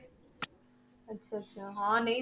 ਅੱਛਾ ਅੱਛਾ ਹਾਂ ਨਹੀਂ।